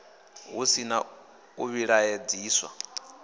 hu si na u vhilaedzisa